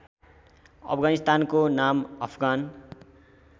अफगानिस्तानको नाम अफगान